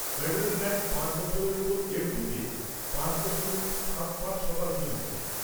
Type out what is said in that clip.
Federal bank পাঁচ বছরের ওপর এফ.ডিতে পাঁচ দশমিক সাত পাঁচ শতাংশ দিচ্ছে।